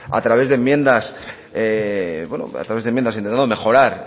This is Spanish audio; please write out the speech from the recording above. a través de enmiendas bueno a través de enmiendas intentando mejorar